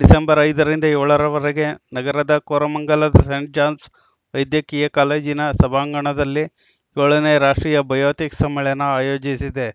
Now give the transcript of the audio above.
December ಐದ ರಿಂದ ಏಳ ರವರೆಗೆ ನಗರದ ಕೋರಮಂಗಲದ ಸೇಂಟ್‌ ಜಾನ್ಸ್‌ ವೈದ್ಯಕೀಯ ಕಾಲೇಜಿನ ಸಭಾಂಗಣದಲ್ಲಿ ಏಳ ನೇ ರಾಷ್ಟ್ರೀಯ ಬಯೋಥಿಕ್ಸ್‌ ಸಮ್ಮೇಳನ ಆಯೋಜಿಸಿದೆ